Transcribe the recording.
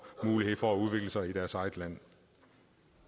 mulighed for at udvikle sig i deres eget land